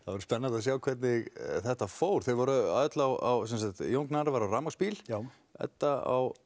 verður spennandi að sjá hvernig þetta fór þau voru öll á Jón Gnarr var á rafmagnsbíl Edda á